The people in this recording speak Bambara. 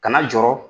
Kana jɔɔrɔ